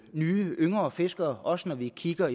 nye yngre fiskere også når vi kigger